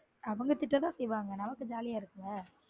அவங்க திட்ட தான் செய்யுவாங்க நமக்கு jolly அ இருக்குல